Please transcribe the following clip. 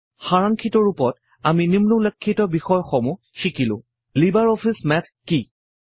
সাৰাংক্ষিত ৰূপত আমি নিম্নোল্লেখিত বিষয়সমূহ শিকিলো লিবাৰ অফিচ মেথ কি